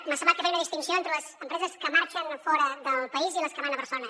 m’ha semblat que feia una distinció entre les empreses que marxen fora del país i les que van a barcelona